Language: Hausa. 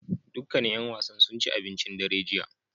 Dukkanin ƴan wasan sun ci abincin dare jiya